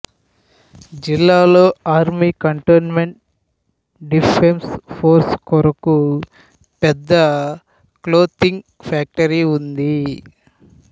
జిల్లాలో army cantonment defence force కొరకు పెద్ద క్లోతింగ్ ఫ్యాక్టరీ ఉంది